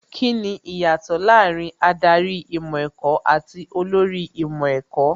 Kíni ìyàtọ̀ láàárín Ádárì ìmọ̀ ẹ̀kọ́ àti olórí ìmọ̀ ẹ̀kọ́?